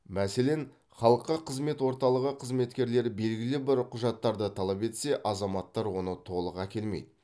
мәселен халыққа қызмет орталығы қызметкерлері белгілі бір құжаттарды талап етсе азаматтар оны толық әкелмейді